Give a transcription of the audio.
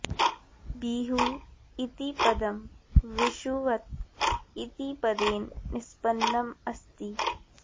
बिहु इति पदं विषुवत् इति पदेन निष्पन्नम् अस्ति